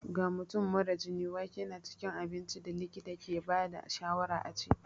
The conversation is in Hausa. Ga mutum mara jini, wake na cikin abincin da likita ke ba da shawarar a ci.